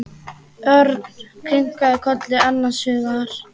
Örn kinkaði kolli annars hugar.